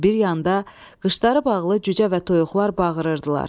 Bir yanda qışları bağlı cücə və toyuqlar bağırırdılar.